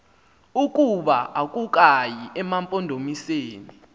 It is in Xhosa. ukuba akukayi emampondomiseni